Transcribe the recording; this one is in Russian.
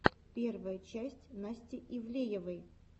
первая часть насти ивлеевой